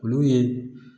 Olu ye